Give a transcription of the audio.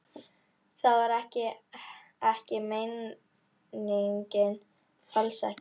Það var heldur ekki meiningin, alls ekki.